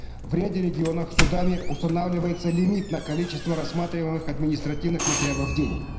в ряде регионов судами устанавливается лимит на количество рассматриваемых административных материалов в день